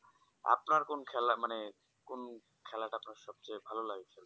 আপনার কোন খেলা মানে কোন খেলাটা আপনার সব চেয়ে ভালো লাগে